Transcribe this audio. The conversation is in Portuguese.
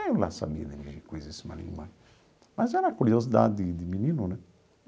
Eu lá sabia dirigir coisíssima nenhuma, mas era curiosidade de de menino, né?